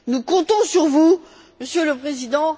Nous comptons sur vous, Monsieur le Président.